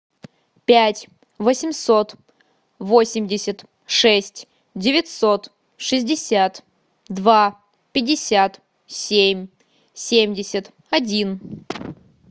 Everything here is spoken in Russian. пять восемьсот восемьдесят шесть девятьсот шестьдесят два пятьдесят семь семьдесят один